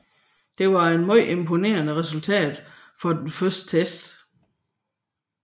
Det var en meget imponerende resultat for en første test